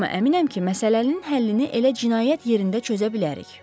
amma əminəm ki, məsələnin həllini elə cinayət yerində çözə bilərik.